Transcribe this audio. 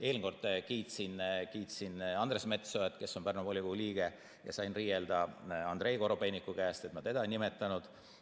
Eelmine kord kiitsin Andres Metsoja, kes on Pärnu volikogu liige, ja sain riielda Andrei Korobeiniku käest, et ma teda ei nimetanud.